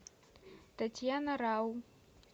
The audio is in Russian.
татьяна рау